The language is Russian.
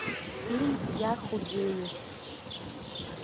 фильм я худею